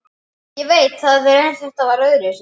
Ég veit það en þetta var öðruvísi.